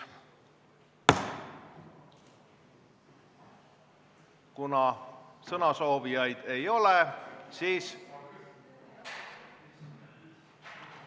Kuna sõnasoovijaid ei ole, siis ...